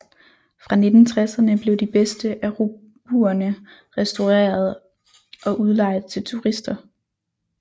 Fra 1960erne blev de bedste af robuerne restaureret og udlejet til turister